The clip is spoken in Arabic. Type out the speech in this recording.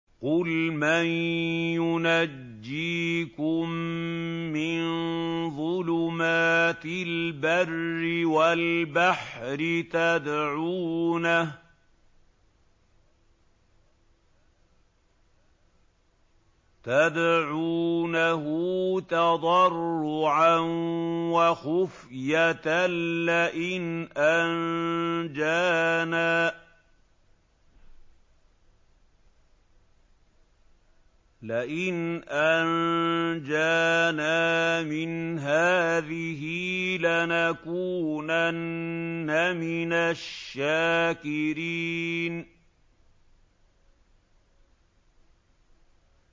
قُلْ مَن يُنَجِّيكُم مِّن ظُلُمَاتِ الْبَرِّ وَالْبَحْرِ تَدْعُونَهُ تَضَرُّعًا وَخُفْيَةً لَّئِنْ أَنجَانَا مِنْ هَٰذِهِ لَنَكُونَنَّ مِنَ الشَّاكِرِينَ